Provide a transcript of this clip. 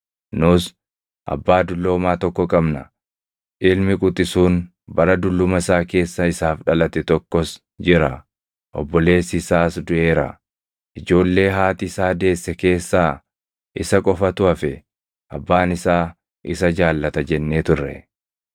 Nus, ‘Abbaa dulloomaa tokko qabna; ilmi quxisuun bara dulluma isaa keessa isaaf dhalate tokkos jira. Obboleessi isaas duʼeera; ijoollee haati isaa deesse keessaa isa qofatu hafe; abbaan isaa isa jaallata’ jennee turre.